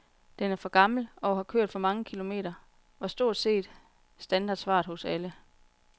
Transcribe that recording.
Den er for gammel, og har kørt for mange kilometer, var stort set standardsvaret hos alle.